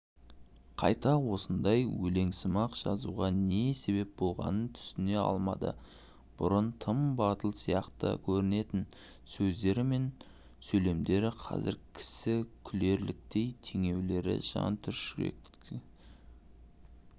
қайта осындай өлеңсымақ жазуға не себеп болғанын түсіне алмады бұрын тым батыл сияқты көрінетін сөздері мен сөйлемдері қазір кісі күлерліктей теңеулері жан түршіккендей